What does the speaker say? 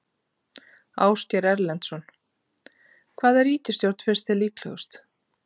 Ásgeir Erlendsson: Hvaða ríkisstjórn finnst þér vera líklegust?